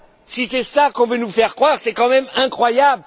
Si c'est cela qu'on veut nous faire croire, c'est quand même incroyable.